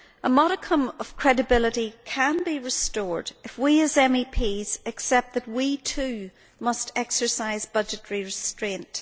A modicum of credibility can be restored if we, as MEPs, accept that we too must exercise budgetary restraint.